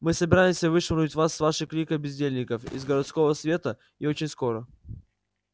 мы собираемся вышвырнуть вас с вашей кликой бездельников из городского совета и очень скоро